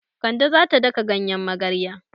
Kande za ta daka ganyen magarya.